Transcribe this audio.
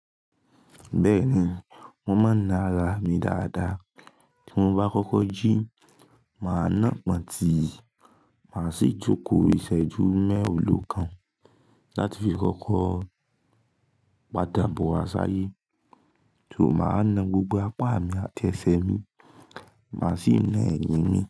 Bẹ́ẹ̀ni, mo máa na ara mi dáadáa. Tí mo bá kọ́kọ́ jí, màá ná pọ́ntì, màá sì jókòó ìṣẹ́jú mẹ́wàá òòlo kan láti fi kọ́kọ́ padà bọ̀ wá sáyé. Sò má ná gbogbo apá mi àti ẹsẹ̀ mi, màá sì na ẹ̀yìn mi.